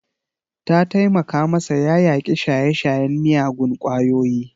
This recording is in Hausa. Ta taimaka masa ya yaƙi shaye-shayen miyagun kwayoyi.